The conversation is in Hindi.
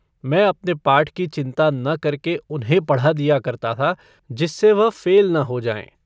मैं अपने पाठ की चिन्ता न करके उन्हें पढ़ा दिया करता था जिससे वह फ़ेल न हो जाएँ।